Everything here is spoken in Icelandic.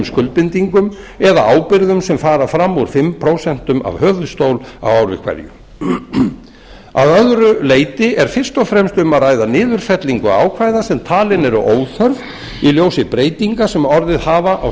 skuldbindingum eða ábyrgðum sem fara fram úr fimm prósent af höfuðstól á ári hverju að öðru leyti er fyrst og fremst um að ræða niðurfellingu ákvæða sem talin eru óþörf í ljósi breytinga sem orðið hafa á